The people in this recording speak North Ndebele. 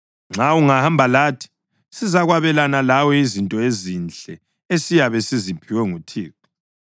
Nxa ungahamba lathi, sizakwabelana lawe izinto ezinhle esiyabe siziphiwe nguThixo.”